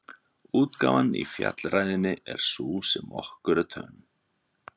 Útgáfan í Fjallræðunni er sú sem er okkur töm.